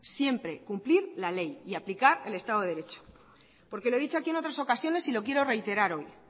siempre cumplir la ley y aplicar el estado de derecho porque lo he dicho aquí en otras ocasiones y lo quiero reiterar hoy